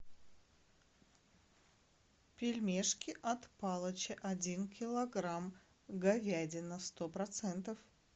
пельмешки от палыча один килограмм говядина сто процентов